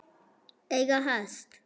Eiga hest.